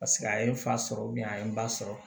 Paseke a ye n fa sɔrɔ a ye n ba sɔrɔ